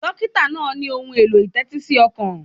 Dọ́kítà náà ní ohun èlò ìtẹ́tí sí ọkàn.